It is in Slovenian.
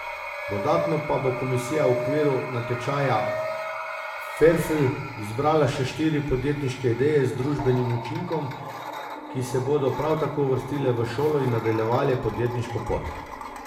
Dodatno pa bo komisija v okviru natečaja Ferfl izbrala še štiri podjetniške ideje z družbenim učinkom, ki se bodo prav tako uvrstile v šolo in nadaljevale podjetniško pot.